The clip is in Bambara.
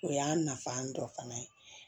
O y'a nafa dɔ fana ye